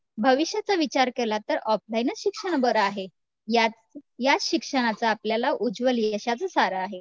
भविष्याचा विचार केला तर ऑफलाईनचं शिक्षण बरं आहे या याच शिक्षणाचा आपल्याला उज्वल यशाचं सार आहे.